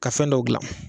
Ka fɛn dɔw gilan